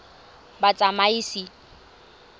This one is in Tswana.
batsamaisi